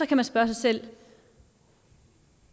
kan man spørge sig selv